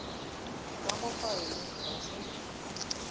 ka mo faeleng ga se